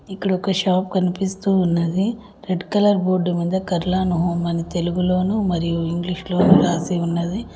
ఇక్కడ ఒక షాప్ కనిపిస్తూ ఉన్నది రెడ్ కలర్ బోర్డు మీద కర్లాన్ హోమ్ అని తెలుగులోనూ మరియు ఇంగ్లీషులోను రాసి ఉన్నది.